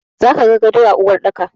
Za ka ga gado a cikin uwarɗaki.